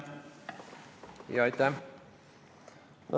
Jaa, aitäh!